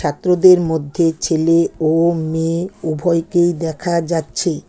ছাত্রদের মধ্যে ছেলে ও মেয়ে উভয়কেই দেখা যাচ্ছে।